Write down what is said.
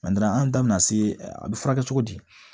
an da bina se a bi furakɛ cogo di